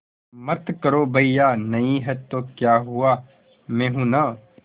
मत करो भैया नहीं हैं तो क्या हुआ मैं हूं ना